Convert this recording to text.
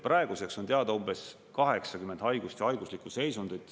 Praeguseks on teada umbes 80 haigust ja haiguslikku seisundit.